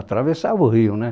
Atravessava o rio, né?